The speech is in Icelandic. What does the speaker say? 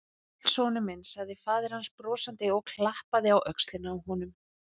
Sæll, sonur minn sagði faðir hans brosandi og klappaði á öxlina á honum.